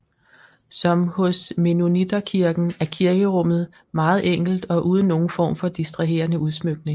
Som hos Mennonitterkirken er kirkerummet meget enkelt og uden nogen form for distraherende udsmykning